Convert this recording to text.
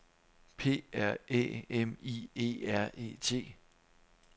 P R Æ M I E R E T